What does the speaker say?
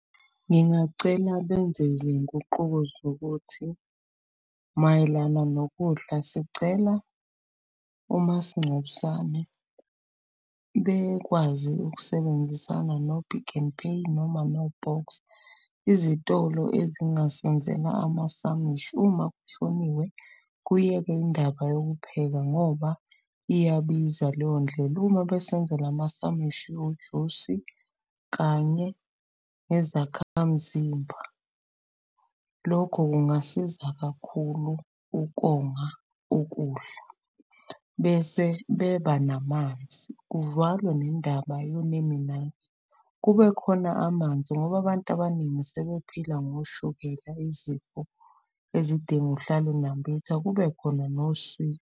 Ngingacela benze izinguquko zokuthi mayelana nokudla. Sicela omasingcwabisane bekwazi ukusebenzisana no-Pick_n_Pay noma no-Boxer. Izitolo ezingasenzela amasamishi, uma kushoniwe kuyekwe indaba yokupheka ngoba iyabiza leyo ndlela. Uma besenzela amasamishi, ujusi kanye nezakhamzimba. Lokho kungasiza kakhulu ukonga ukudla bese beba namanzi, kuvalwe nendaba yonemenaythi. Kube khona amanzi ngoba abantu abaningi sebephila ngoshukela izifo ezidinga uhlale unambitha, kube khona .